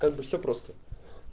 как бы все просто